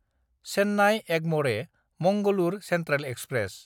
Chennai Egmore Mangalore central express